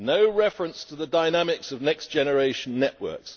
no reference to the dynamics of next generation networks